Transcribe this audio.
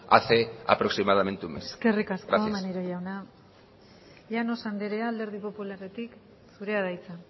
hace aproximadamente un mes gracias eskerrik asko maneiro jauna llanos andrea alderdi popularretik zurea da hitza